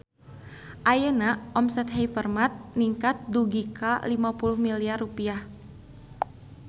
Ayeuna omset Hypermart ningkat dugi ka 50 miliar rupiah